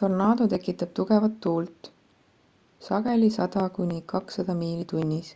tornaado tekitab tugevat tuult sageli 100-200 miili/tunnis